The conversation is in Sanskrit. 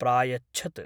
प्रायच्छत्।